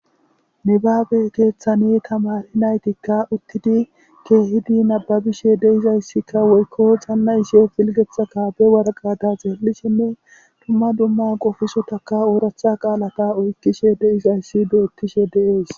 Nibabe keethan tamareti kaahidi uthidi nababishe dizaysika woyko xana'ishe pilgetha kaabe worakata xeelishene duma duma qofisotaka oorata qalaata oykishe dizaysi beetes.